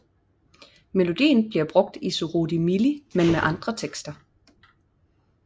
Melodien bliver brugt i Surudi Milli men med andre tekster